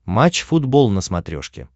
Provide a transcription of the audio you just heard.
матч футбол на смотрешке